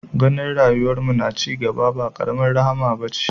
Ganin rayuwar mu na cigaba ba karamar rahama bace